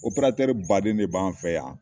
baden de b' an fɛ yan